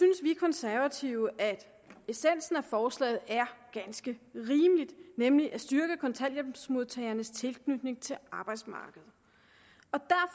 vi konservative at essensen af forslaget er ganske rimelig nemlig at styrke kontanthjælpsmodtagernes tilknytning til arbejdsmarkedet